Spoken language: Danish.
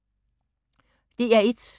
DR1